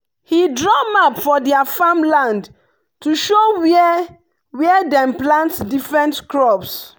he draw map for their farm land to show where where dem plant different crops.